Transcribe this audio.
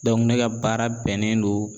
ne ka baara bɛnnen don